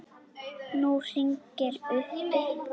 Nú hringir uppi.